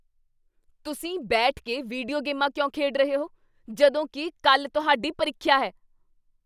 ਤੁਸੀਂ ਬੈਠ ਕੇ ਵੀਡੀਓ ਗੇਮਾਂ ਕਿਉਂ ਖੇਡ ਰਹੇ ਹੋ? ਜਦੋਂ ਕੀ ਕੱਲ੍ਹ ਤੁਹਾਡੀ ਪ੍ਰੀਖਿਆ ਹੈ।